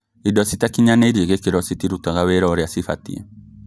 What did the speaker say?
Indo citakinyanĩrie gĩkĩro citirutaga wĩra ũrĩa cibatiĩ